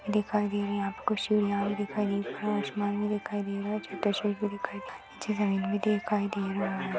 दिखाई दे रही है दिखाई दे रही है आसमान भी दिखाई दे रहा है छोटा भी दिखाई दे रहा है नीचे जमीन भी दिखाई दे रही है।